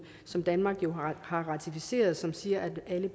som danmark jo har ratificeret og som siger at alle